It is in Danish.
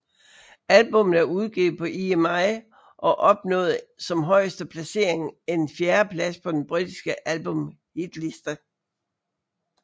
Albummet er udgivet på EMI og opnåede som højeste placering en fjerdeplads på den britiske albumhitliste